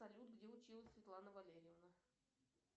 салют где училась светлана валерьевна